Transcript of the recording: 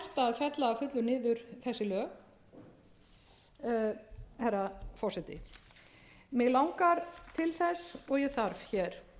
að fullu niður þessi lög herra forseti mig langar til þess og ég þarf hér